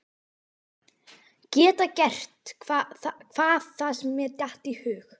Geta gert hvað það sem mér datt í hug.